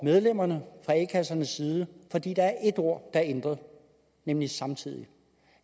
medlemmerne fra a kassernes side fordi der er et ord der er ændret nemlig samtidig